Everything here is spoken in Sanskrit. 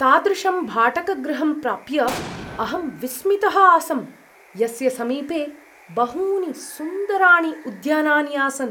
तादृशं भाटकगृहं प्राप्य अहं विस्मितः आसं, यस्य समीपे बहूनि सुन्दराणि उद्यानानि आसन्।